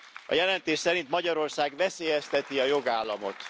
A jelentés szerint Magyarország veszélyezteti a jogállamot.